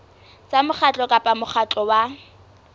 tsa mokgatlo kapa mokgatlo wa